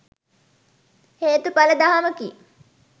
හේතුඵල දහමකි.